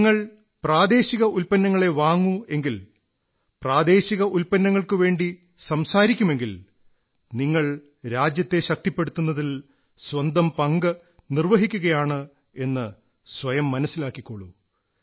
നിങ്ങൾ പ്രാദേശിക ഉത്പന്നങ്ങളേ വാങ്ങൂ എങ്കിൽ പ്രാദേശിക ഉത്പന്നങ്ങൾക്കുവേണ്ടി സംസാരിക്കുമെങ്കിൽ നിങ്ങൾ രാജ്യത്തെ ശക്തിപ്പെടുത്തുന്നതിൽ സ്വന്തം പങ്ക് നിർവ്വഹിക്കുകയാണെന്ന് സ്വയം മനസ്സിലാക്കിക്കോളൂ